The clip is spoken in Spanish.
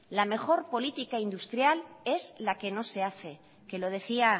la mejor política industrial es la que no se hace que lo decía